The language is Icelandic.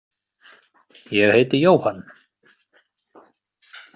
Ég heiti Jóhann.